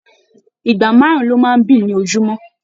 Ìgbà márùn lọ máa n bí ní ojumọ.